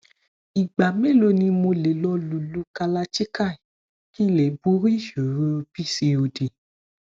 ìgbà mélòó ni mo lè lo lulú kalachikai kí n lè borí ìṣòro pcod